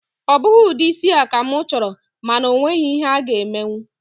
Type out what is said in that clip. Ọ bụghị ụdị isi a ka mụ chọrọ, mana o nweghị ihe a-ga emenwu